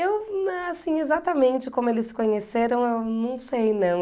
Eu, assim, exatamente como eles se conheceram, eu não sei, não.